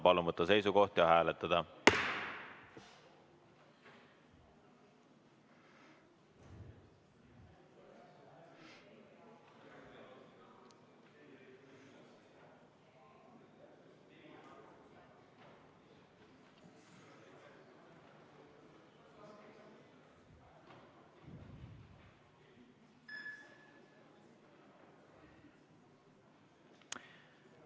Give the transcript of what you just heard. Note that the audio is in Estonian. Palun võtta seisukoht ja hääletada!